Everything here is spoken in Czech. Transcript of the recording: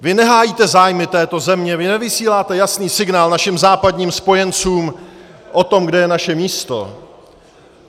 Vy nehájíte zájmy této země, vy nevysíláte jasný signál našim západním spojencům o tom, kde je naše místo.